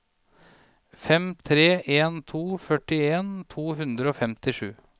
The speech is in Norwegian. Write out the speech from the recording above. fem tre en to førtien to hundre og femtisju